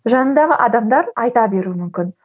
жаныңдағы адамдар айта беруі мүмкін